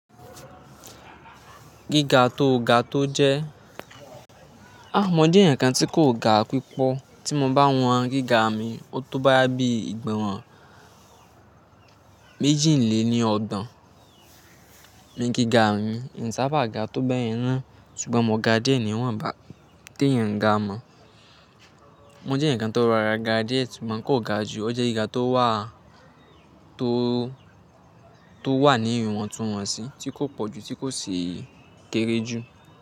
Gíga tó ga tó jẹ́, á mọ jẹ́ ǹkan tí kò ga pípọ̀ tí mo bá wọn gíga mi. Ó tó boyabí ìgbọn méjì lè ní ọ̀gbọn ni gíga mi. N saba ga tó bẹyẹn na ṣùgbọ́n mọ̀ ga díẹ̀ ni wọ́n bá téyan ga mọ̀. Mo jẹ́ eyan kan tó rara ga díẹ̀ ṣùgbọ́n kò ga jù. Ó jẹ́ gíga tó wà, tó, tó wà ní ìwọ̀ntúnwọ̀nsí tí kò pọ̀ jù tí kò sì kéré jù.